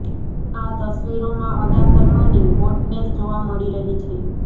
આ તસવીરોમાં અદા શર્માની હોટનેસ જોવા મળી રહી છે